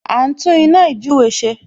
A ń tún iná ījúre ṣe